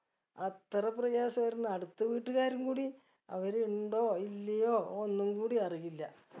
അത്ര പ്രയാസായിരുന്നു അടുത്ത് വീട്ടുക്കാരും കൂടി അവര് ഇണ്ടോ ഇല്ലയോ ഒന്നുകൂടി അറിയില്ല